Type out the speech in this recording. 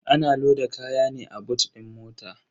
Ana loda kaya ne a boot din mota.